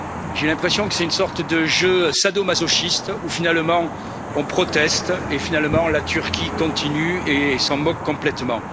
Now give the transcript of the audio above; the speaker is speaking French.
J'ai l'impression que c'est une sorte de jeu sadomasochiste où, finalement, nous protestons et, finalement, la Turquie continue et s'en moque complètement.